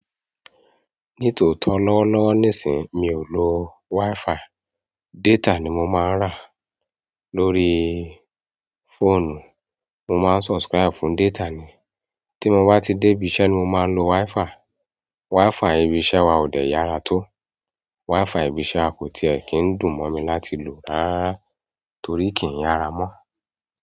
Ní tòótọ́ lọ́wọ́lọ́wọ́ nísìí mi ò lo Wi-Fi. Data ni mó má n rà. Lóríí fóònù, mó má n subscribe fún data ni. Tí mó bá ti dé ibi iṣẹ́ ni mó má n lo WiFi. WiFi ibi iṣẹ́ wa ò dẹ yára tó. WiFi ibi iṣẹ́ wa kò tiẹ̀ kín dùn mó mi láti lò rárá torí kìí yára mọ.